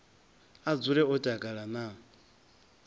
a dzule o takala na